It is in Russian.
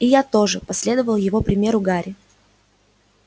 и я тоже последовал его примеру гарри